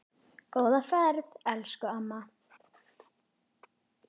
Góða ferð elsku amma.